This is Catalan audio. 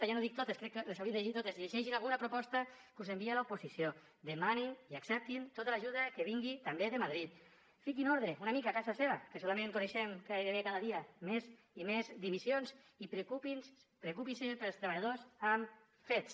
ja no dic totes crec que les haurien de llegir totes llegeixin alguna proposta de les que us envia l’oposició demanin i acceptin tota l’ajuda que vingui també de madrid fiquin ordre una mica a casa seva que solament coneixem gairebé cada dia més i més dimissions i preocupin se pels treballadors amb fets